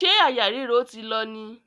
Ṣé àyà ríro ti lọ?